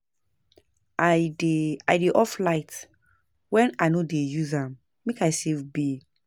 I dey I dey off light wen I no dey use am make I save bill.